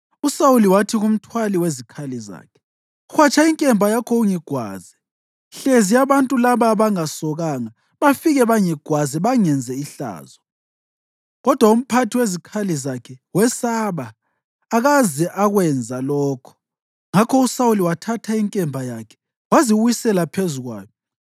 USawuli wathi kumthwali wezikhali zakhe, “Hwatsha inkemba yakho ungigwaze, hlezi abantu laba abangasokanga bafike bangigwaze bangenze ihlazo.” Kodwa umphathi wezikhali zakhe wesaba, akaze akwenza lokho; ngakho uSawuli wathatha inkemba yakhe waziwisela phezu kwayo.